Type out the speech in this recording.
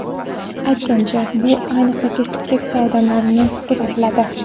Aytgancha, bu ayniqsa, keksa odamlarda ko‘p kuzatiladi.